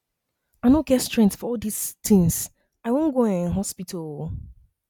i no get strength for all dis things i wan go um hospital um